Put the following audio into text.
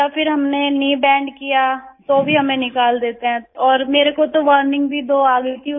या फिर हमने कनी बेंड किया तो भी हमें निकाल देते हैं और मेरे को तो वार्निंग भी दो आ गई थी